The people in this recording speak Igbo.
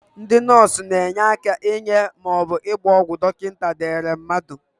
Ndị nọọsụ na-enye aka inye maọbụ ịgba ọgwụ dọkịnta dere mmadụ.